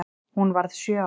Hún varð sjö ára.